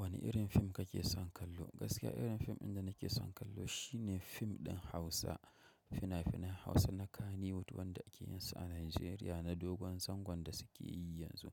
Wani irin film kake son kallo? Gaskiya irin fim inda nake son kallo shi ne fim ɗin Hausa. Fina-finan Hausa na kannywood wato wadanda ake yinsa a Najeriya na dogon zangon da suke yi yanzu.